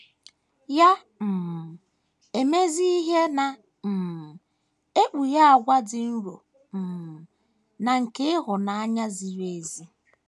Ya um emezie ihe na - um ekpughe àgwà ịdị nro um na nke ịhụnanya ziri ezi.